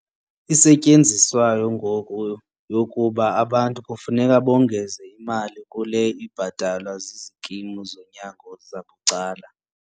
isetyenziswayo ngoku yokuba abantu kufuneka bongeze imali kule ibhatalwa zizikimu zonyango zabucala.